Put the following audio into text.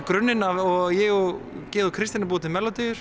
grunninn og ég og Georg Kristinn að búa til